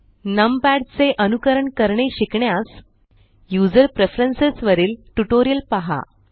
नम पॅड चे अनुकरण करणे शिकण्यास यूझर प्रेफरन्स वरील ट्यूटोरियल पहा